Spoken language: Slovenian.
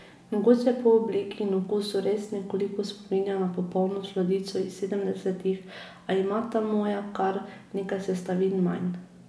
Mogoče po obliki in okusu res nekoliko spominja na popolno sladico iz sedemdesetih, a ima ta moja kar nekaj sestavin manj ...